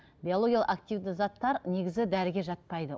биологиялық активті заттар негізі дәріге жатпайды